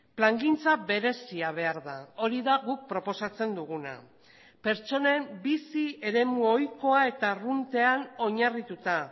plangintza berezia behar da hori da guk proposatzen duguna pertsonen bizi eremu ohikoa eta arruntean oinarrituta